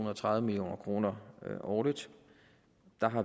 og tredive million kroner årligt